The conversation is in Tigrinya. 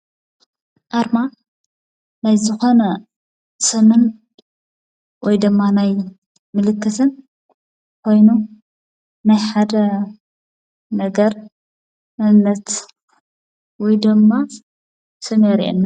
ኣርማ ናይ ዝኾነ ሰነድ ወይ ድማ ናይ ምልክስን ኮይኑ ናይ ሓደ ነገር መንነት ወይድማ ስም የርእየና።